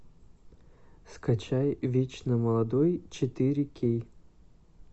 скачай вечно молодой четыре кей